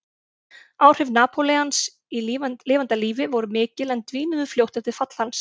Áhrif Napóleons í lifanda lífi voru mikil en dvínuðu fljótt eftir fall hans.